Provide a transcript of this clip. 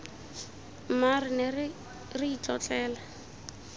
mma re ne re itlotlela